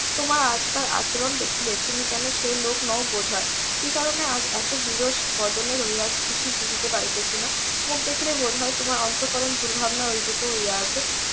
তোমার আজকের আচরণ দেখিলে যেন সে লোক নও বোধ হয় কি কারণে এত বিরস বদনে রহিয়াছ কিছুই বুঝিতে পারিতেছি না মুখ দেখিলে বোধ হয় তোমার অন্তঃকরণ দুর্ভাবনায় . হইয়া আছে